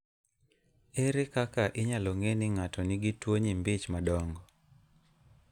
Ere kaka inyalo ng'e ni ng'ato nigi tuwo nyimbi ich madongo?